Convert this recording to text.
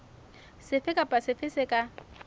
sefe kapa sefe se ka